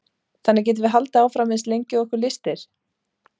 þannig getum við haldið áfram eins lengi og okkur lystir